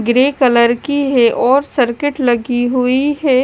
Grey colour की है और सर्किट लगी हुई है।